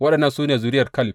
Waɗannan su ne zuriyar Kaleb.